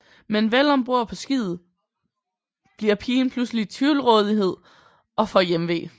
Men vel om bord på skibet bliver pigen pludselig tvivlrådighed og får hjemve